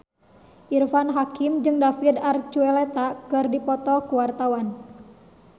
Irfan Hakim jeung David Archuletta keur dipoto ku wartawan